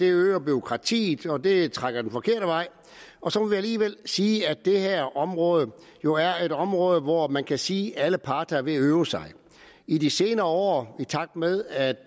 øger bureaukratiet og det trækker den forkerte vej og så må vi alligevel sige at det her område jo er et område hvor man kan sige at alle parter er ved at øve sig i de senere år og i takt med at